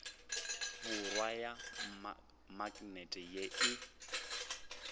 borwa ya maknete ye e